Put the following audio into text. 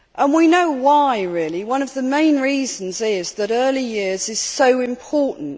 We know why really one of the main reasons is that early years are so important.